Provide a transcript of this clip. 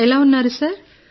ఎలా ఉన్నారు సార్